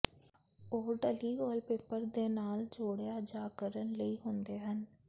ਉਹ ਢਲੀ ਵਾਲਪੇਪਰ ਦੇ ਨਾਲ ਜੋੜਿਆ ਜਾ ਕਰਨ ਲਈ ਹੁੰਦੇ ਹਨ